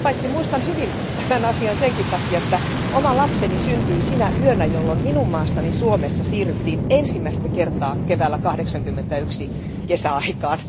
Muistan hyvin tämän asian senkin takia, että oma lapseni syntyi sinä yönä, jolloin minun maassani Suomessa siirryttiin ensimmäistä kertaa keväällä 1981 kesäaikaan.